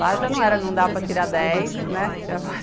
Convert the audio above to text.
Lá já não era, não dava para tirar dez, né?